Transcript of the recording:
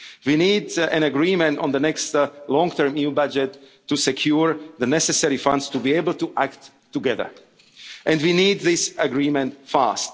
and responsibility. We need an agreement on the next long-term EU budget to secure the necessary funds to be able to act together, and we need